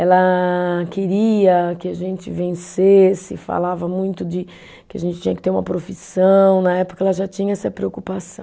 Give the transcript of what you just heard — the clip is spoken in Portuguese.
Ela queria que a gente vencesse, falava muito de que a gente tinha que ter uma profissão, na época ela já tinha essa preocupação.